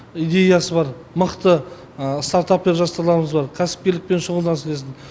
идеясы бар мықты стартаппен жастарларымыз бар кәсіпкерлікпен шұғылдансын десін